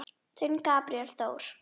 Þinn, Gabríel Þór.